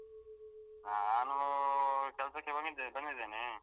ನಾನು ಕೆಲ್ಸಕ್ಕೆ ಹೋಗಿದ್ದೆ~ ಬಂದಿದ್ದೇನೆ.